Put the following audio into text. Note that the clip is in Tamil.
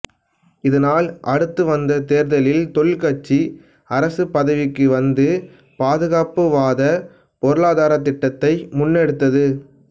இதனால் அடுத்து வந்த தேர்தலில் தொழிற் கட்சி அரசு பதவிக்கு வந்து பாதுகாப்புவாத பொருளாதாரத்திட்டத்தை முன்னெடுத்தது